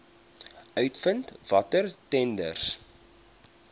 uitvind watter tenders